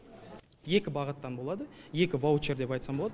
екі бағыттан болады екі ваучер деп айтсам болады